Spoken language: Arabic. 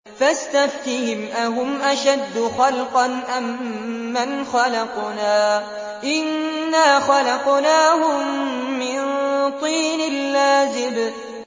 فَاسْتَفْتِهِمْ أَهُمْ أَشَدُّ خَلْقًا أَم مَّنْ خَلَقْنَا ۚ إِنَّا خَلَقْنَاهُم مِّن طِينٍ لَّازِبٍ